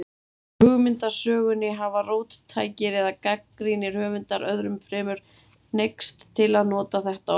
Í hugmyndasögunni hafa róttækir eða gagnrýnir höfundar, öðrum fremur, hneigst til að nota þetta orð.